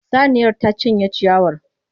Saniyar ta cinye ciyawar.